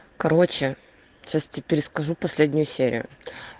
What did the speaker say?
короче сейчас теперь скажу последнюю серию